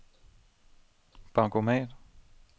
bankomat